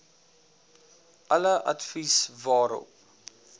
alle advies daarop